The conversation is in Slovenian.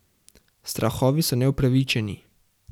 Strahovi so neupravičeni.